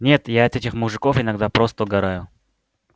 нет я от этих мужиков иногда просто угораю